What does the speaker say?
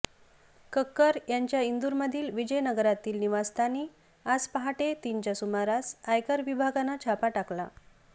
कक्कर यांच्या इंदूरमधील विजयनगरातील निवासस्थानी आज पहाटे तीनच्या सुमारास आयकर विभागानं छापा टाकला